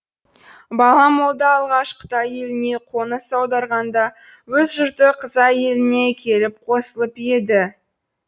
бала молда алғаш қытай еліне қоныс аударғанда өз жұрты қызай еліне келіп қосылып еді